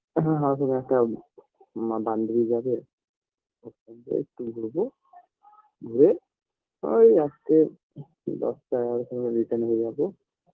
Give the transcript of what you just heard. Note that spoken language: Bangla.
আ আ আমাদেরএকটা মা বান্ধবী যাবে ওর সঙ্গে একটু ঘুরবো ঘুরে ওই রাত্রে দশটা এগারো টার সময়ে return হয়ে যাবো